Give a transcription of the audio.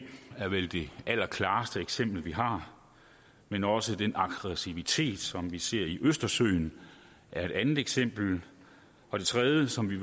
er vel det allerklareste eksempel vi har men også den aggressivitet som vi ser i østersøen er et andet eksempel det tredje som vi